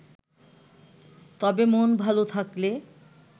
তবে মন ভালো থাকলে